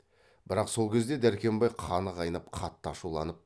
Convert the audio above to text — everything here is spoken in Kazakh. бірақ сол кезде дәркембай қаны қайнап қатты ашуланып